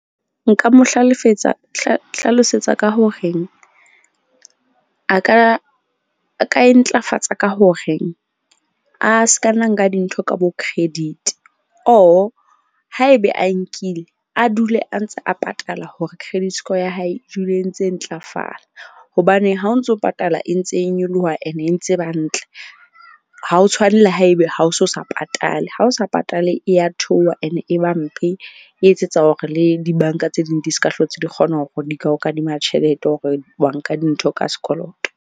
Nka mo hlalosetsa ka hore a ka e ntlafatsa ka hore a ska nna nka dintho ka bo credit or haebe a nkile a dule a ntse a patala hore credit score ya hae e dule e ntse ntlafala. Hobane ha o ntso patala e ntse e nyoloha ene e ntse ba ntle. Ha ho tshwane le haebe ha o so sa patale, ha o sa patale e ya theoha ene e ba mpe. E etsetsa hore le di-bank-a tse ding di ska hlotse di kgona hore di ka o kadima tjhelete hore wa nka dintho ka sekoloto.